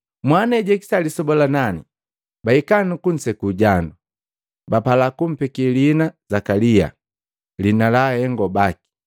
Mwana ejahikisa lisoba la nani bahika kunseku jandu. Bapala kumpeke liina Zakalia, liina la ahengo baki.